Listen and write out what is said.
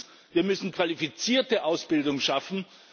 Zweitens Wir müssen qualifizierte Ausbildung schaffen.